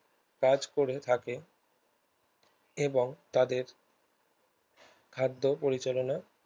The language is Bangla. কাজ করে থাকে এবং তাদের খাদ্য পরিচালনার